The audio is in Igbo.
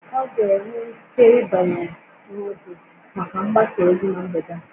Ọ ga-enwe ike ịbanye na ọdụ maka mgbasa ozi na mgbede a?